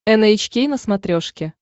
эн эйч кей на смотрешке